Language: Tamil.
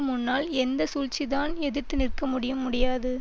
முன்னால் எந்த சூழ்ச்சிதான் எதிர்த்து நிற்க முடியும் முடியாது